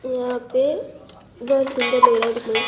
यहां पे बहोत सुंदर लग रहा है दिखने में--